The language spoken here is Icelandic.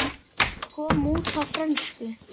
Hún kom út á frönsku